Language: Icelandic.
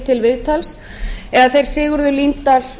til viðtals eða þeir sigurður líndal